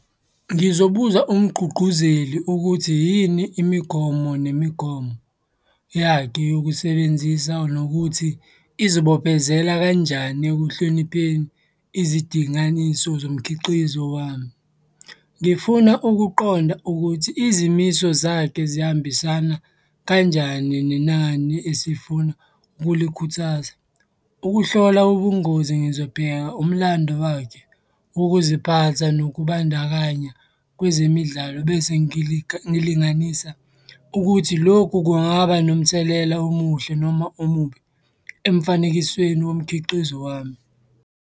Ngizobuza umgqugquzeli ukuthi yini imigomo nemigomo yakhe yokusebenzisa nokuthi izibophezela kanjani ekuhlonipheni izidinganiso zomkhiqizo wami. Ngifuna ukuqonda ukuthi izimiso zakhe zihambisana kanjani nenani esifuna ukulikhuthaza. Ukuhlola ubungozi ngizobheka umlando wakhe, ukuziphatha nokubandakanya kwezemidlalo bese ngilinganisa ukuthi lokhu kungaba nomthelela omuhle noma omubi emfanekisweni womkhiqizo wami.